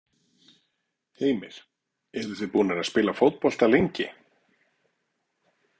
Heimir: Eruð þið búnir að spila fótbolta lengi?